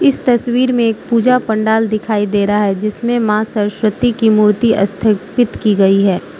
इस तस्वीर में एक पूजा पंडाल दिखाई दे रहा है जिसमें मां सरस्वती की मूर्ति अस्थपित की गई है।